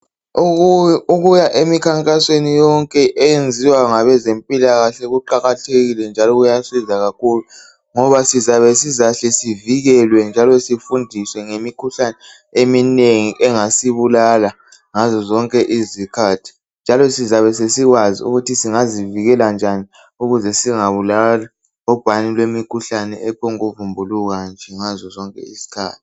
Ukuya emkhankasweni yonke eyenziwa ngabezempilakahle kuqakathekile njalo kuyasiza kakhulu ngoba siyabe sizahle sivikelwe njalo sifundiswe ngemikhuhlane eminengi engasibulala ngazo zonke izikhathi njalo sizabe sesikwazi ukuzivikela ukuthi singabùawa lubhuhane lwemikhuhlane ephonguvumbuluka nje ngazozonke izikhathi.